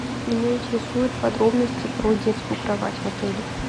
меня интересуют подробности про детскую кровать в отеле